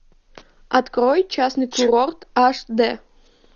открой частный курорт аш дэ